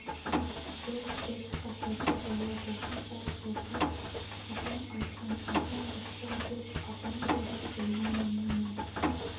жоқ деп қасарды бала басын шалт шайқап апам айтқан әкең рысқұл деп апаң қайда білмеймін мені